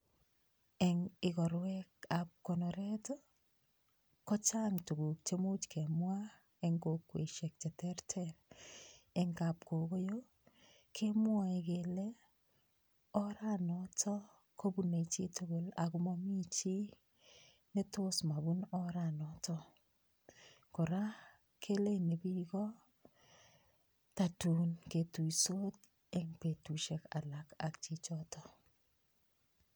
Eng ikorwekab konoret ii, kochang tukuk che much kemwa eng kokwesiek che terter, eng kapkokoyo kemwae kele, oranoto kobune chi tugul ako mami chi ne tos mabun oranoto. Kora keleini piko, tatun ketuisot eng betusiek alak ak chichoto.